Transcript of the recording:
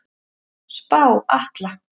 Spá Atla